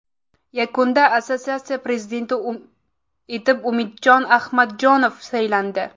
Yakunda assotsiatsiyasi prezidenti etib Umid Ahmadjonov saylandi.